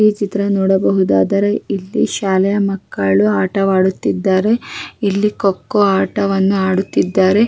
ಈ ಚಿತ್ರ ನೋಡಬಹುದಾದರೆ ಇಲ್ಲಿ ಶಾಲೆಯ ಮಕ್ಕಳು ಆಟವಾಡುತ್ತಿದ್ದರೆ ಇಲ್ಲಿಕೊಕ್ಕೋ ಆಟವನ್ನು ಆಡುತ್ತಿದ್ದಾರೆ --